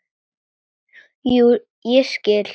Jú, ég skil.